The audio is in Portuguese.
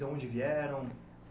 Da onde vieram?